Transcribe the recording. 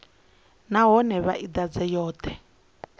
nahone vha i ḓadze yoṱhe